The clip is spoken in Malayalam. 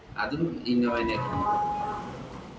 അതും ഇന്നോവ തന്നെ ആയിരുന്നു